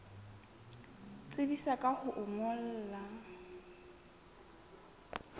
tsebisa ka ho o ngolla